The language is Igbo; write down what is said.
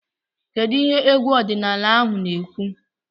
Kedu ihe egwu ọdịnala ahụ na-ekwu?